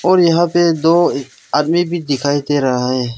और यहां पे दो आदमी भी दिखाई दे रहा है।